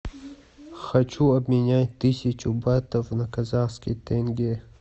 хочу обменять тысячу батов на казахский тенге